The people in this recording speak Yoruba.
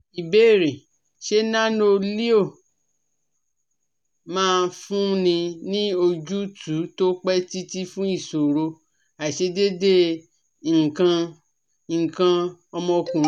Ìbéèrè: Ṣé Nano-Leo máa fúnni ní ojútùú tó pẹ́ títí fun ìṣòro aisedede ikan ikan omo okunrin?